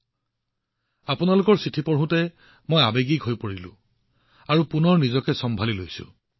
বহুবাৰ আপোনালোকৰ চিঠিবোৰ পঢ়ি থাকোঁতে মই আৱেগিক হৈ পৰিছিলোমন আৱেগেৰে ভৰি পৰিছিল আৰু তাৰ পিছত নিজকে চম্ভালি লৈছিলো